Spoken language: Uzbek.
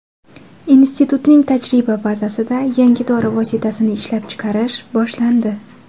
Institutning tajriba bazasida yangi dori vositasini ishlab chiqarish boshlandi.